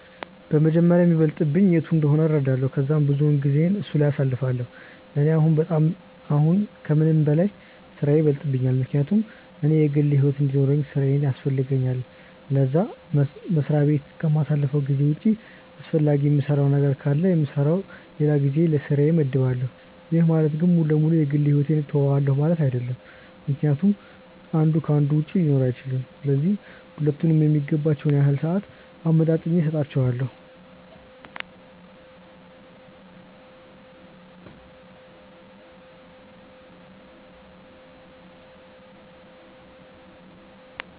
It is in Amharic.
በመጀመሪያ የሚበልጥብኝ የቱ እንደሆነ እረዳለው ከዛም ብዙውን ጊዜየን እሱ ላይ አሳልፋለው፤ ለኔ አሁን ከምንም በላይ ስራዬ ይበልጥብኛል ምክንያቱም እኔ የግል ሕይወት እንዲኖርውኝ ስራዬ ያስፈልገኛል ለዛ፤ መስሪያ በት ከማሳልፈው ጊዜ ውጪ አስፈላጊ የምሰራው ነገር ካለ የምሰራበት ለላ ጊዜ ለስራዬ መድባለው፤ ይህ ማለት ግን ሙሉ ለ ሙሉ የ ግል ሕይወቴን ትውዋለው ማለት አይድለም ምክንያቱም አንዱ ከ አንዱ ውጪ ሊኖር አይችልም፤ ስለዚህ ሁለቱም የሚገባቸውን ያህል ሰአት አመጣጥኜ ሰጣቸዋለው።